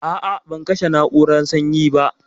A a ban kashe na'urar sanyi ba.